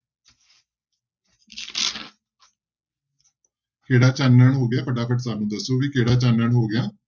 ਕਿਹੜਾ ਚਾਨਣ ਹੋ ਗਿਆ ਫਟਾਫਟ ਸਾਨੂੰ ਦੱਸੋ ਵੀ ਕਿਹੜਾ ਚਾਨਣ ਹੋ ਗਿਆ?